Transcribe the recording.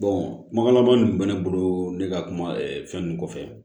kumakan laban min bɛ ne bolo ne ka kuma fɛn ninnu kɔfɛ